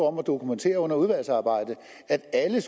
om at dokumentere under udvalgsarbejdet at alle